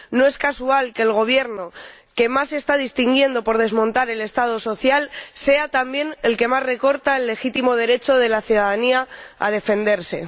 No es casual que el Gobierno que más se está distinguiendo por desmontar el Estado social sea también el que más recorta el legítimo derecho de la ciudadanía a defenderse.